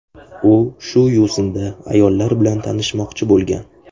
U shu yo‘sinda ayollar bilan tanishmoqchi bo‘lgan.